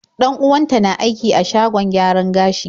Dan-uwanta na aiki a shagon gyaran gashi.